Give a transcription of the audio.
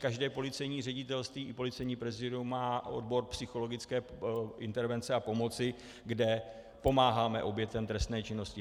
Každé policejní ředitelství i policejní prezídium má odbor psychologické intervence a pomoci, kde pomáháme obětem trestné činnosti.